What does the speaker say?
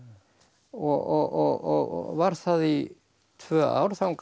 og var það í tvö ár þangað til